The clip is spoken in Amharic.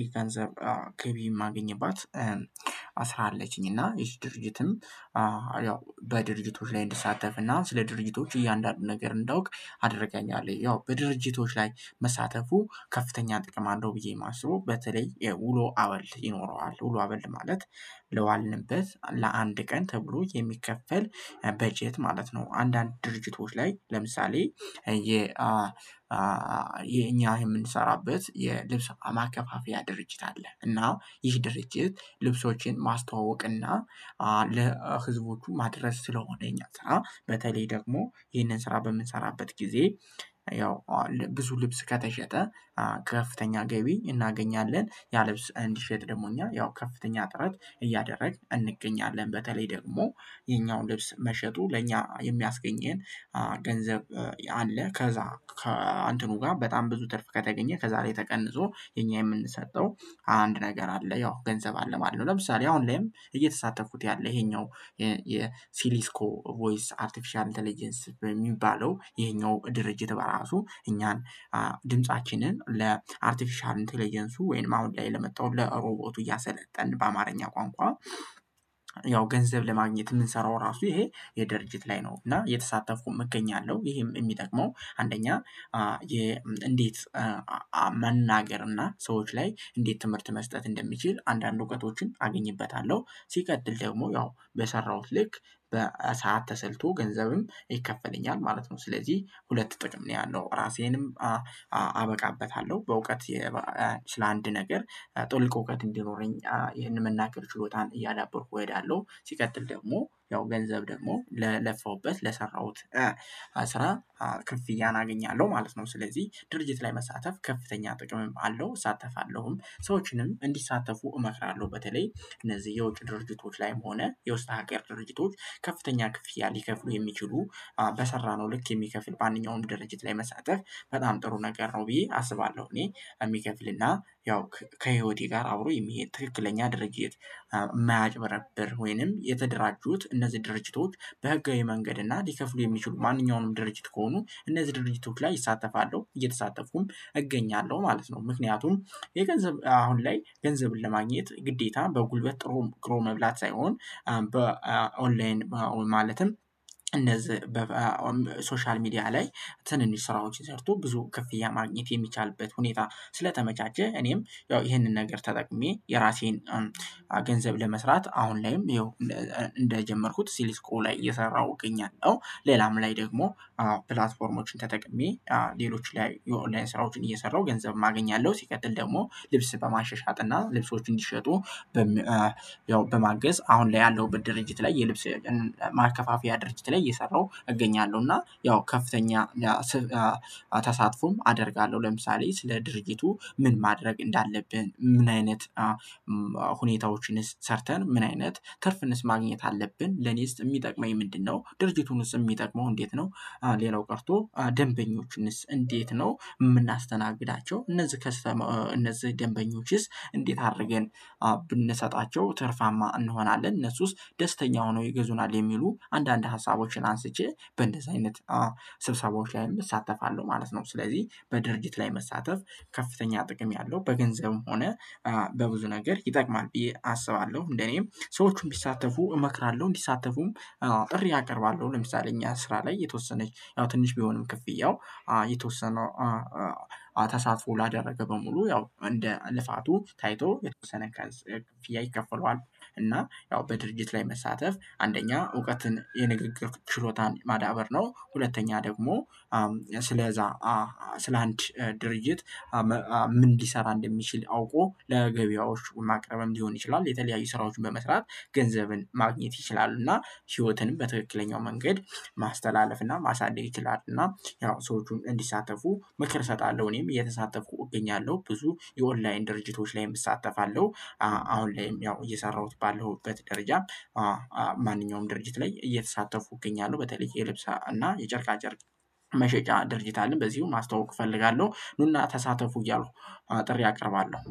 ይገንዘብ ገቢ የማገኘባት ስራ አለችኝ እና ይሄ ድርጅትም ያው በድርጅቶች ላይ እንድሳተፍ እና ስለ ድርጅቶች እያንዳንዱን ነገር እንዳውቅ አደርጋኛለይ ያው በድርጅቶች ላይ መሳተፉ ከፍተኛ ጥቅም አለው ብዬ የማስበው። በተለይ የውሎ አበል ይኖረዋል። ውሎ አበል ማለት ለዋልንበት ለአንድ ቀን ተብሎ የሚከፈል በጀት ማለት ነው። አንዳንድ ድርጅቶች ላይ ለምሳሌ የ አ የኛ የምንሰራበት የልብስ ማከፋፈያ ድርጅት አለ። እና ይህ ድርጅት ልብሶችን ማስተዋወቅ እና ለህዝቦቹ ማድረስ ስለሆነ ይሄኛው ስራ በተለይ ደግሞ ይሄንን ስራ በምሰራበት ጊዜ ያው ብዙ ልብስ ከተሸጠ ከፍተኛ ገቢ እናገኛለን። ያለብስ እንዲሸጥ ደግሞ እኛ ያው ከፍተኛ ጥረት እያደረግን እንገኛለን። በተለይ ደግሞ የኛውን ልብስ መሸጡ ለኛ የሚያስገኘን ገንዘብ አለ። ከዛ አንተኑ ጋር በጣም ብዙ ትርፍ ከተገኘ ከዛሬ ተቀንሶ የኛ የምንሰጠው አንድ ነገር አለ። ያው ገንዘብ አለ ማለሁ ለምሳሌ አሁን ላይም እየተሳተፍኩት ያለ ይሄኛው የሲሊስኮ ቮይስ አርቲፊሻል ኢንተሌጀንሲ በሚባለው ይሄኛው ድርጅት በራሱ እኛን ድምፃችንን ለአርቲፊሻል ኢንተሌጀንሱ ወይም አሁን ላይ ለመጣው ለሮቦቱ እያሰለጠን በአማርኛ ቋንቋ ያው ገንዘብ ለማግኘት የምንሰራው ራሱ ይሄ የደርጅት ላይ ነው እና የተሳተፍኩኝ እገኛለሁ። ይሄም የሚጠቅመው አንደኛ እንዴት መናገር እና ሰዎች ላይ እንዴት ትምህርት መስጠት እንደሚችል አንዳንድ እውቀቶችን አግኝበታለሁ። ሲቀድል ደግሞ ያው በሰራሁት ልክ በሰአት ተሰልቶ ገንዘብም ይከፈለኛል። ማለት ነው ስለዚህ ሁለት ጥቅም ነው ያለው። ራሴንም አበቃበታለሁ። በእውቀት ስለ አንድ ነገር ጥልቅ እውቀት እንዲኖረኝ ይህንን መናገር ችሎታን እያዳበርኩ እሄዳለሁ። ሲቀጥል ደግሞ ያው ገንዘብ ደግሞ ለለፋውበት ለሰራሁት ስራ ክፍያን አገኛለሁ ማለት ነው። ስለዚህ ድርጅት ላይ መሳተፍ ከፍተኛ ጥቅም አለ። እሳተፋለሁም ሰዎችንም እንዲሳተፉ እመክራለሁ። በተለይ እነዚህ የውጭ ድርጅቶች ላይም ሆነ የውስጥ ሀገር ድርጅቶች ከፍተኛ ክፍያ ሊከፍሉ የሚችሉ በሰራነው ልክ የሚከፍል በአንደኛው ወንድ ድርጅት ላይ መሳተፍ በጣም ጥሩ ነገር ነው ብዬ አስባለሁ እኔ የሚከፍልና ያው ከህይወቴ ጋር አብሮ የሚሄድ ትክክለኛ ድርጅት የማያጭበረብር ወይንም የተደራጁት እነዚህ ድርጅቶች በህጋዊ መንገድ እና ሊከፍሉ የሚችሉ ማንኛውንም ድርጅት ከሆኑ እነዚህ ድርጅቶች ላይ እሳተፋለሁ። እየተሳተፍኩም እገኛለሁ። ማለት ነው ምክንያቱም የገንዘብ አሁን ላይ ገንዘብን ለማግኘት ግዴታ በጉልበት ጥሩ ግሩ መብላት ሳይሆን በኦንላይን ማለትም እነዚህ በሶሻል ሚዲያ ላይ ትንንሽ ስራዎችን ሰርቶ ብዙ ክፍያ ማግኘት የሚቻልበት ሁኔታ ስለተመቻቸ እኔም ያው ይሄንን ነገር ተጠቅሜ የራሴን ገንዘብ ለመስራት አሁን ላይም ይኸው እንደጀመርኩት ሲሊስኮ ላይ እየሰራሁ እገኛለሁ። ሌላም ላይ ደግሞ ፕላትፎርሞችን ተጠቅሜ። ሌሎች ላይ የኦንላይን ስራዎችን እየሰራሁ ገንዘብ ማገኛለሁ ሲቀጥል ደግሞ ልብስ በማሸሻት እና ልብሶች እንዲሸጡ ያው በማገዝ አሁን ላይ ያለው ድርጅት ላይ የልብስ ማከፋፊያ ድርጅት ላይ እየሰራሁ እገኛለሁ። እና ያው ከፍተኛ ተሳትፎም አደርጋለ። ለምሳሌ ስለ ድርጀቱ ምን ማድረግ እንዳለብን? ምን አይነት ሁኔታዎችን ሰርተን ምን አይነት ትርፍንስ ማግኘት አለብን። ለኔስ የሚጠቅመኝ ምንድነው? ድርጅቱንስ የሚጠቅመው እንዴት ነው? ሌላው ቀርቶ ደንበኞችንስ እንዴት ነው የምናስተናግዳቸው? እነዚህ ከስተመ እነዚህ ደንበኞችስ እንዴት አድርገን ብንሰጣቸው ትርፋማ እንሆናለን። እነሱስ ደስተኛ ሆነው ይገዙናል። የሚሉ አንዳንድ ሀሳቦችን አንስቼ በእንደዚህ አይነት ስብሰባዎች ላይ እሳተፋለሁ። ማለት ነው ስለዚህ በድርጊት ላይ መሳተፍ ከፍተኛ ጥቅም ያለው በገንዘብም ሆነ በብዙ ነገር ይጠቅማል። ብዬ አስባለሁ እንደኔም ሰዎቹን ቢሳተፉ እመክራለሁ እንዲሳተፉም ጥሪ አቀርባለሁ። ለምሳሌ እኛ ስራ ላይ የተወሰነች ያው ትንሽ ቢሆንም ክፍያው የተወሰነ ተሳትፎ ላደረገ በሙሉ ያው እንደ ልፋቱ ታይቶ የተወሰነ ከ ክፍያ ይከፈለዋል እና ያው በድርጅት ላይ መሳተፍ አንደኛ እውቀትን የንግግር ችሎታን ማዳበር ነ። ሁለተኛ ደግሞ ስለዛ ስለአንድ ድርጅት ምን እንዲሰራ እንደሚችል አውቆ ለገበያዎቹ ማቅረብም ሊሆን ይችላል። የተለያዩ ስራዎችን በመስራት ገንዘብን ማግኘት ይችላሉና። ህይወትንም በትክክለኛው መንገድ ማስተላለፍና ማሳደግ ይችላሉ። እና ያው ሰዎቹን እንዲሳተፉ መክር እሰጣለሁ። እኔም የተሳተፍኩ እገኛለሁ ብዙ የኦንላይን ድርጅቶች ላይ እሳተፋለሁ። አሁን ላይም ያው እየሰራሁት ባለሁበት ደረጃ ማንኛውም ድርጅት ላይ እየተሳተፉኝ እገኛለሁ። በተለይ የልብስ እና የጨርቃ ጨርቅ መሸጫ ድርጅት አለን። በዚሁ ማስተዋወቅ እፈልጋለሁ ኑና ተሳተፉ እያሉ አጥሬ አቀርባለሁ።